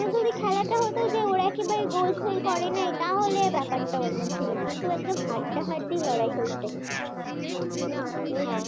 গোল ফোল করে নাই তাহলে ব্যাপারটা অন্য ছিল কিন্তু ব্যাপারটা হাড্ডাহাড্ডি লড়াই হয়েছে